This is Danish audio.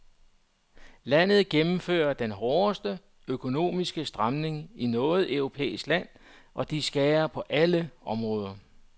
Landet gennemfører den hårdeste, økonomiske stramning i noget europæisk land, og de skærer på alle områder.